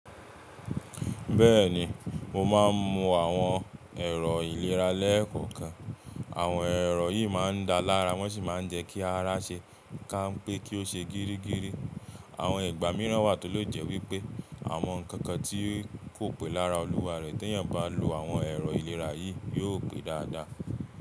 Bẹ́ẹ̀ni mo máa ń mu àwọn ẹ̀rọ ìlera lẹ́ẹ̀kan kan. Àwọn ẹ̀rọ yìí máa ń da lára wọ́n sì máa ń jẹ́ kí ara ṣe ká ń pé kí ó ṣe gírígíri. Àwọn ìgbà mìíràn wà tó lè jẹ́ wípẹ́ àwọn nǹkan kan tí kò pé lára olúwa rẹ̀ tí èèyàn bá lo àwọn ẹ̀rọ ìlera yìí yóò pé dáadáa.